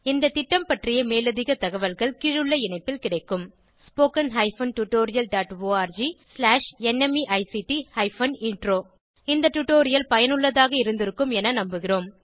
இந்த திட்டம் பற்றிய மேலதிக தகவல்கள் கீழுள்ள இணைப்பில் கிடைக்கும் spoken hyphen tutorial dot org slash NMEICT hyphen intro இந்த டுடோரியல் பயனுள்ளதாக இருந்திருக்கும் என நம்புகிறோம்